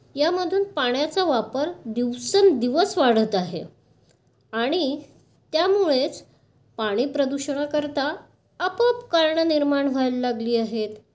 यामधून पाण्याचा वापर दिवसेंदिवस वाढत आहे. आणि त्यामुळेच पाणी प्रदूषण करता आपोआप कारणं निर्माण व्हायला लागली आहेत.